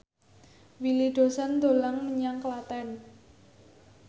Willy Dozan dolan menyang Klaten